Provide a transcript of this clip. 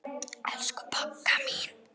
Elsku Bogga.